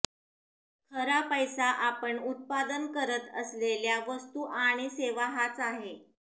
खरा पैसा आपण उत्पादन करत असेलल्या वस्तू आणि सेवा हाच आहे